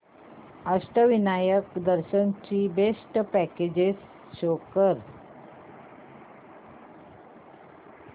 अष्टविनायक दर्शन ची best packages show कर